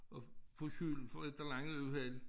At få skylden for et eller andet uheld